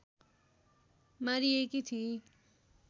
मारिएकी थिई